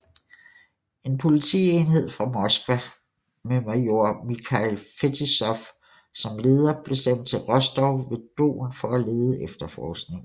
En politienhed fra Moskva med Major Mikhail Fetisov som leder blev sendt til Rostov ved Don for at lede efterforskingen